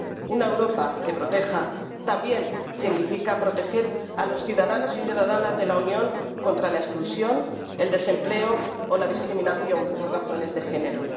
Una Europa que proteja también significa proteger a los ciudadanos y ciudadanas de la Unión contra la exclusión, el desempleo o la discriminación por razones de género.